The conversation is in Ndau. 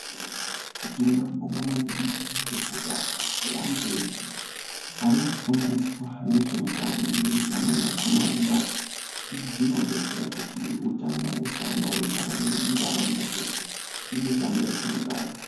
Tinoda kubonga maningi ngekuda kweantu eshe, ari kufundiswa ngezveutano, ngekuti amweni akhona ari kubata. Izvi zvinodetsera kuti hutano husaramba hweipararira muntaraunda dzeshe nemumiganga yetinogara.